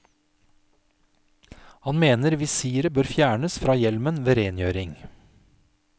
Han mener visiret bør fjernes fra hjelmen ved rengjøring.